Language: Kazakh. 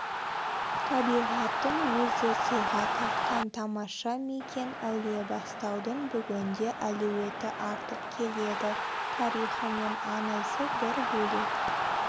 табиғаттың өзі сыйға тартқан тамаша мекен әулиебастаудың бүгінде әлеуеті артып келеді тарихы мен аңызы бір бөлек